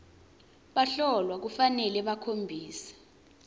bahlolwa kufanele bakhombise